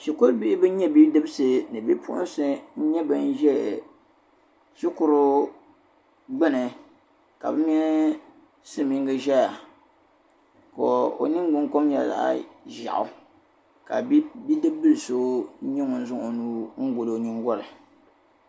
shikuru bihi ban nyɛ bidibisi ni bi'puɣisi n nyɛ ban ze shikuru gbuni ka bɛ mini silimiingi zaya ka o niŋgbun kom nyɛ zaɣ'ʒeɣu ka bi bi'dibli so n nyɛ ŋun zaŋ o nuu n gɔli o nyingoli.